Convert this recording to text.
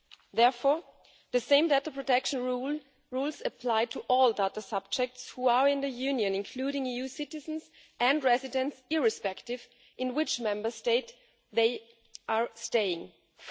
Therefore, the same data protection rules apply to all data subjects who are in the European Union, including EU citizens and residents irrespective of which Member State they are staying in.